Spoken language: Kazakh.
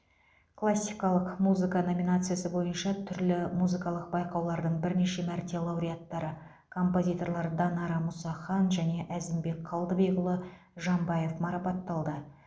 классикалық музыка номинациясы бойынша түрлі музыкалық байқаулардың бірнеше мәрте лауреаттары композиторлар данара мұсахан және әзімбек қалдыбекұлы жамбаев марапатталды